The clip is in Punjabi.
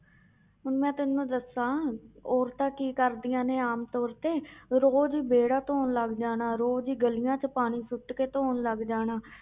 ਹੁਣ ਮੈਂ ਤੈਨੂੰ ਦੱਸਾਂ ਔਰਤਾਂ ਕੀ ਕਰਦੀਆਂ ਨੇ ਆਮ ਤੌਰ ਤੇ ਰੋਜ਼ ਵਿਹੜਾ ਧੌਣ ਲੱਗ ਜਾਣਾ ਰੋਜ਼ ਹੀ ਗਲੀਆਂ 'ਚ ਪਾਣੀ ਸੁੱਟ ਕੇ ਧੌਣ ਲੱਗ ਜਾਣਾ